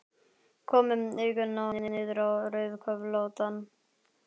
Kom með augun niður á rauðköflóttan borðdúkinn aftur.